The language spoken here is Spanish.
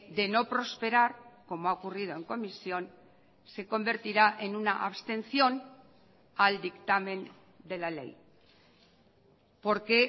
de no prosperar como ha ocurrido en comisión se convertirá en una abstención al dictamen de la ley porque